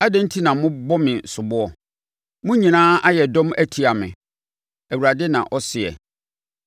“Adɛn enti na mobɔ me soboɔ? Mo nyinaa ayɛ dɔm atia me,” Awurade na ɔseɛ.